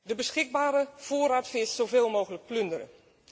De beschikbare voorraad vis zoveel mogelijk plunderen.